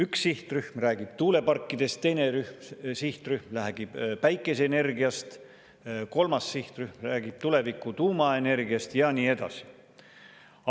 Üks sihtrühm räägib tuuleparkidest, teine sihtrühm räägib päikeseenergiast, kolmas sihtrühm räägib tuleviku tuumaenergiast ja nii edasi.